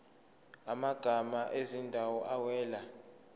amagama ezindawo awela